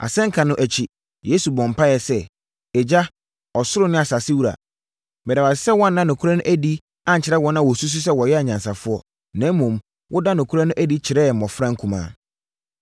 Asɛnka no akyi, Yesu bɔɔ mpaeɛ sɛ, “Agya, ɔsoro ne asasewura, meda wo ase sɛ woanna nokorɛ no adi ankyerɛ wɔn a wɔsusu sɛ wɔyɛ anyansafoɔ, na mmom, wodaa nokorɛ no adi kyerɛɛ mmɔfra nkumaa.